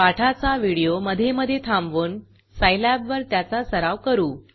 पाठाचा व्हिडिओ मधे मधे थांबवून सायलॅबवर त्याचा सराव करू